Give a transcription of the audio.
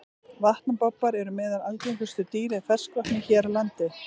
Vatnabobbar eru meðal algengustu dýra í ferskvatni hér á landi.